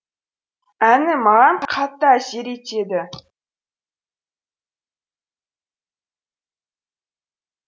әні маған қатты әсер етеді